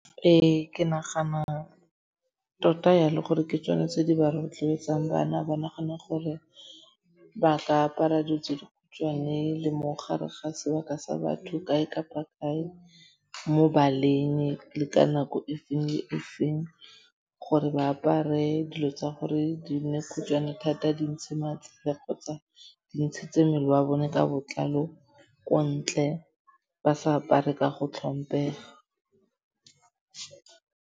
Ee, ke nagana tota jalo gore ke tsona tse di ba rotloetsang bana ba nagane gore ba ka apara dilo tse dikhutshwane le mo gare ga sebaka sa batho kae kapa kae, mo baleng le ka nako e feng le e feng. Gore ba apare dilo tsa gore di nne khutshwane thata di ntshe matsele kgotsa di ntshitse mmele wa bone ka botlalo ko ntle ba sa apare ka go tlhompega.